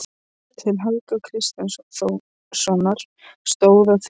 Til Helga kristjánssonar, stóð á því.